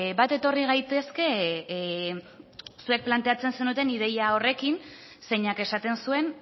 bat etorri gaitezke zuek planteatzen zenuten ideia horrekin zeinak esaten zuen